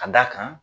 Ka d'a kan